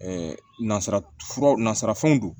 nazara fura nasira fɛnw don